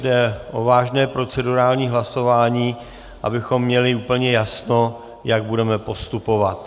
Jde o vážné procedurální hlasování, abychom měli úplně jasno, jak budeme postupovat.